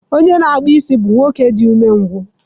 Onye na-akpụ isi bụ nwoke dị umengwụ